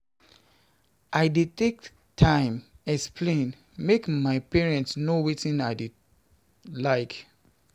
I dey take time explain, make my parents know wetin I dey like.